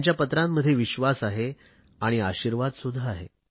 त्यांच्या पत्रांमध्ये विश्वास आहे आणि आशिर्वाद सुध्दा आहे